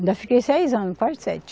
Ainda fiquei seis anos, quase sete.